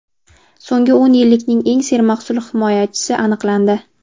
So‘nggi o‘n yillikning eng sermahsul himoyachisi aniqlandi.